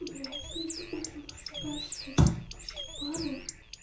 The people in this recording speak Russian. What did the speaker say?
блять когда ты утром просыпаешься ради ебучей пары